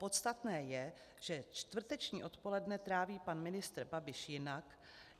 Podstatné je, že čtvrteční odpoledne tráví pan ministr Babiš jinak.